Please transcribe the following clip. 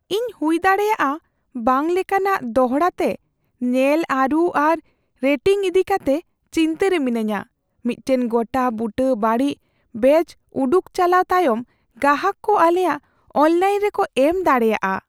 ᱤᱧ ᱦᱩᱭᱫᱟᱲᱮᱭᱟᱜᱼᱟ ᱵᱟᱝ ᱞᱮᱠᱟᱱᱟᱜ ᱫᱚᱲᱦᱟ ᱛᱮ ᱧᱮᱞ ᱟᱹᱨᱩ ᱟᱨ ᱨᱮᱴᱤᱝ ᱤᱫᱤᱠᱟᱛᱮ ᱪᱤᱱᱛᱟᱹᱨᱮ ᱢᱤᱱᱟᱹᱧᱟ, ᱢᱤᱫᱴᱟᱝ ᱜᱚᱴᱟᱼᱵᱩᱴᱟᱹ ᱵᱟᱹᱲᱤᱡ ᱵᱮᱹᱪ ᱩᱰᱩᱠ ᱪᱟᱞᱟᱣ ᱛᱟᱭᱚᱢ ᱜᱟᱦᱟᱜ ᱠᱚ ᱟᱞᱮᱭᱟᱜ ᱚᱱᱞᱟᱭᱤᱱ ᱨᱮᱠᱚ ᱮᱢ ᱫᱟᱲᱮᱭᱟᱜᱼᱟ ᱾